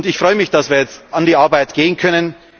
Ich freue mich, dass wir jetzt an die Arbeit gehen können.